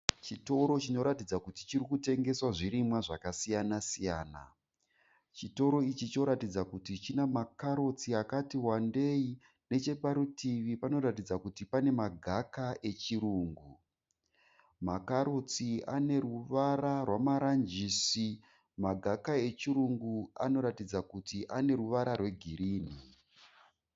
Chitoro chinoratidza kuti chiri kutengeswa zvirimwa zvakasiyana-siyana. Chitoro ichi choratidza kuti china makarotsi akati wandei. Necheparutivi panoratidza kuti pane magaka echirungu. Makarotsi ane ruvara rwamaranjisi. Magaka echirungu anoratidza kuti ane ruvara rwegirini.